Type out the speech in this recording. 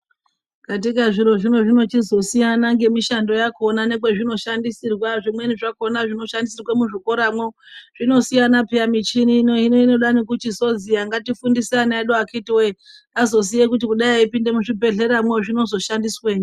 Katika zviro zvino zvinochizosiyana ngemishando yakona ngekwezvinoshandisirwa zvimweni zvakona zvinoshandisirwe muzvikoramwo. Zvinosiyana peya michini ino hino inoda nekuchizozi eya ngatifundise ana edu akhiti voye azoziye kuti kudai eipinde muzvibhedhleramwo zvinozoshandiswenyi.